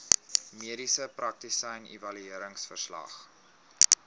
mediese praktisyn evalueringsverslag